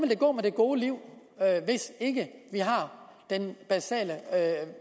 vil gå med det gode liv hvis ikke vi har den basale